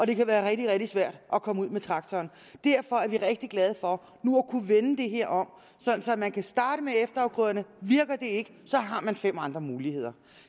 det kan være rigtig rigtig svært at komme ud med traktoren derfor er vi rigtig glade for nu at kunne vende det her om så man kan starte med efterafgrøderne virker det ikke har man fem andre muligheder